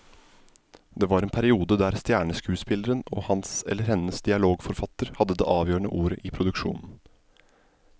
Det var en periode der stjerneskuespilleren og hans eller hennes dialogforfatter hadde det avgjørende ordet i produksjonen.